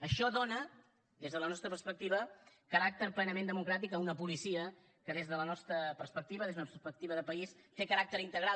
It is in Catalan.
això dóna des de la nostra perspectiva caràcter plenament democràtic a una policia que des de la nostra perspectiva des d’una perspectiva de país té caràcter integral